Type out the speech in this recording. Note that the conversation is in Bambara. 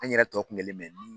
An yɛrɛ tɔ kunkelen mɛ min?